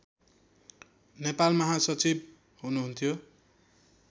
नेपाल महासचिव हुनुहुन्थ्यो